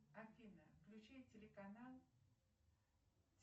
афина включи телеканал